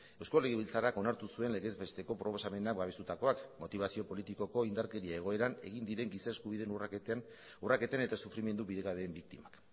eusko legebiltzarrak onartu zuen legezbesteko proposamena babestutakoak motibazio politikoko indarkeria egoeran egin diren giza eskubideen urraketen eta sufrimendu bidegabeen biktimak